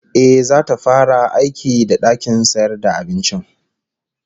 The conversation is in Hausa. Ehh, zata fara aiki da dakin sayar da abincin